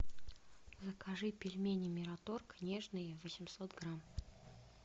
закажи пельмени мираторг нежные восемьсот грамм